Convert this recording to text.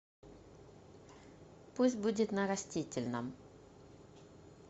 пусть будет на растительном